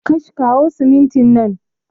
Kash, kawo siminti nan